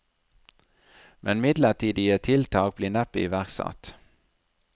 Men midlertidige tiltak blir neppe iverksatt.